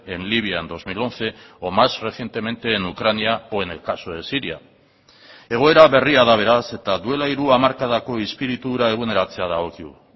en libia en dos mil once o más recientemente en ucrania o en el caso de siria egoera berria da beraz eta duela hiru hamarkadako espiritu hura eguneratzea dagokigu